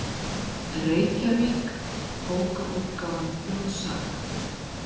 Reykjavík: Bókaútgáfan Þjóðsaga.